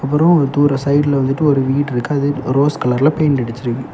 இதோ ஒரு தூர சைடுல வந்துட்டு ஒரு வீடு இருக்கு ரோஸ் கலர்ல பெயிண்ட் அடிச்சுருக்கு.